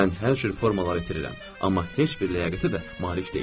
Mən hər cür formaları itirirəm, amma heç bir ləyaqətə də malik deyiləm.